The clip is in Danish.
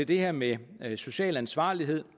det her med social ansvarlighed